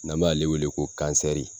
N'an b'ale wele ko